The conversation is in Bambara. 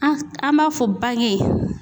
An s an b'a fɔ bange